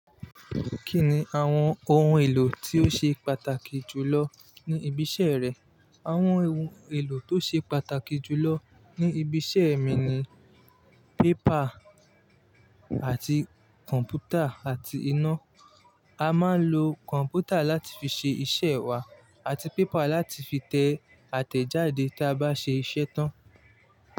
Kí ni àwọn ohun èlò tí ó ṣe pàtàkì jù lọ ní ibi iṣẹ́ rẹ? Àwọn ohun èlò tó ṣe pàtàkì jù lọ ní ibi iṣẹ́ mi ni pépà àti kọ̀m̀pútà àti iná. A máa ń lo kọ̀m̀pútà láti fi ṣe iṣẹ́ wa àti pépà láti fi tẹ àtẹ̀jáde tí a bá ṣe iṣẹ́ tán.